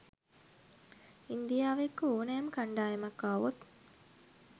ඉන්දියාව එක්ක ඕනෑම කණ්ඩායමක් ආවොත්